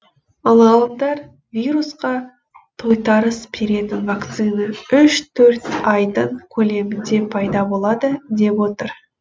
ал ғалымдар вирусқа тойтарыс беретін вакцина үш төрт айдың көлемінде пайда болады деп отыр